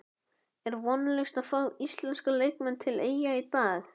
Er vonlaust að fá íslenska leikmenn til Eyja í dag?